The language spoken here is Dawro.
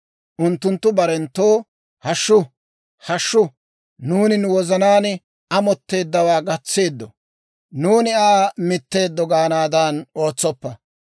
Unttunttu barenttoo, «Hashshu, hashshu, nuuni nu wozanaan amotteeddawaa gatseeddo. Nuuni Aa mitteeddo» gaanaadan ootsoppa.